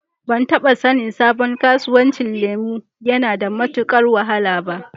Ban taɓa sanin sabon kasuwancin lemu yana da matuƙar wahala ba.